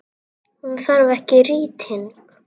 Hún þarf ekki rýting.